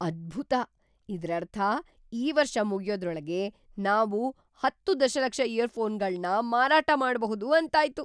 ಅದ್ಭುತ! ಇದ್ರರ್ಥ ಈ ವರ್ಷ ಮುಗ್ಯೋದ್ರೊಳಗೆ ನಾವು ೧೦ ದಶಲಕ್ಷ ಇಯರ್ಫೋನ್‌ಗಳ್ನ ಮಾರಾಟ ಮಾಡ್ಬಹುದು ಅಂತಾಯ್ತು!